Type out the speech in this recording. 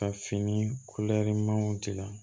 Ka fini dila